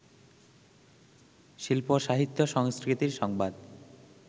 শিল্প-সাহিত্য-সংস্কৃতির সংবাদ